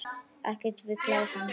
Ekki við klær hans.